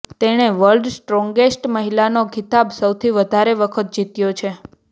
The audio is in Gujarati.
તેણે વર્લ્ડ્સ સ્ટ્રોગેસ્ટ મહિલાનો ખિતાબ સૌથી વધારે વખત જીત્યો છે